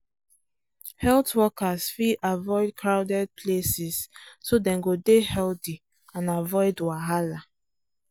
health workers fit avoid crowded places so dem go dey healthy and avoid wahala.